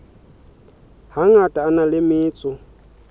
hangata a na le metso